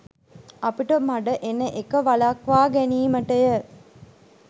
අපිට මඩ එන එක වලක්වා ගැනීමටය